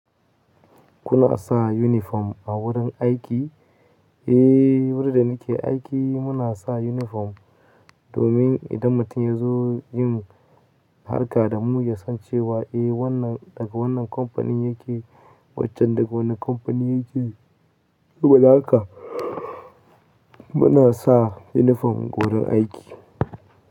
Kuna sa uniform a wurin aiki? Eh, wurin da nake aiki muna sa uniform. Domin idan mutum ya zo yin harka da mu ya san cewa eh wannan daga wannan kamfanin yake, waccan daga wane kamfanin yake. Saboda haka muna sa uniform wurin aiki.